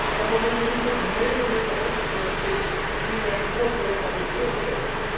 Maar we moeten niet het hele Midden Oosten conflict direct koppelen aan dit voorstel.